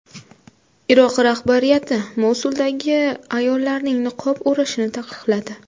Iroq rahbariyati Mosuldagi ayollarning niqob o‘rashini taqiqladi.